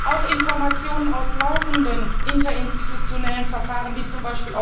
Auch Informationen aus laufenden interinstitutionellen Verfahren wie z.